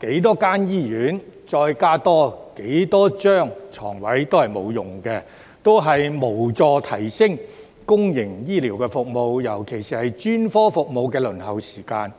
建多少醫院，再增加多少張病床也沒有用，無助改善公營醫療服務，尤其是專科服務的輪候時間。